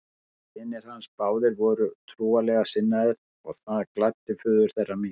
Synir hans báðir voru trúarlega sinnaðir og það gladdi föður þeirra mikið.